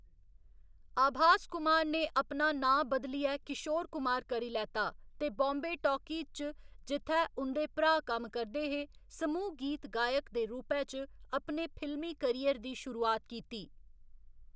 आभास कुमार ने अपना नांऽ बदलियै ''किशोर कुमार'' करी लैता ते बाम्बे टाकीज च, जित्थै उं'दे भ्राऽ कम्म करदे हे, समूह गीत गायक दे रूपै च अपने फिल्मी करियर दी शुरुआत कीती।